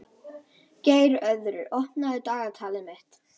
Geirröður, opnaðu dagatalið mitt.